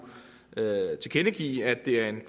tilkendegive at det er en